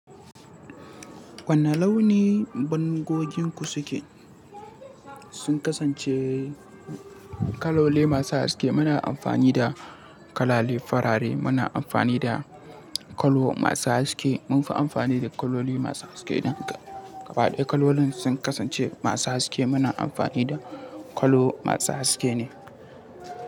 Wani launi bangon gidan ku yake da Sun kasance kaloli masu haske. Muna amfani da kaloli farare. Muna amfani da kala masu haske. Mun fi amfani da kaloli masu haske ɗin. Gaba ɗaya kalolin sun kasance masu haske. Muna amfani da kwallo masu haske ne.